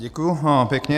Děkuji pěkně.